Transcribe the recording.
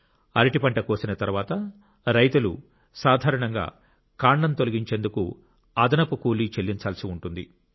అరటి పంట కోసిన తరువాత రైతులు సాధారణంగా కాండం విసిరేందుకు అదనపు చెల్లించాల్సి ఉంటుంది